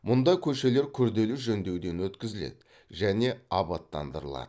мұнда көшелер күрделі жөндеуден өткізіледі және абаттандырылады